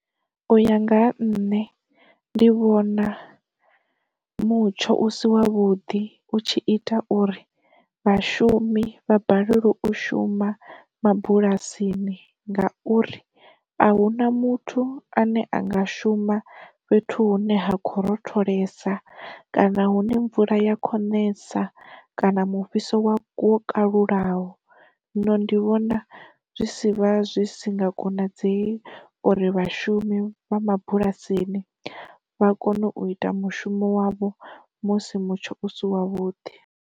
U ya nga ha nṋe ndi vhona mutsho u si wa vhuḓi u tshi ita uri vhashumi vha balelwe u shuma mabulasini ngauri a huna muthu ane anga shuma fhethu hune ha kho rotholesa, kana hune mvula ya kho nesa, kana mu fhiso wa kwo kalulaho. Zwino ndi vhona zwi si vha zwi si nga konadzei uri vhashumi vha mabulasini vha kone u ita mushumo wavho musi mutsho u si wa vhuḓi.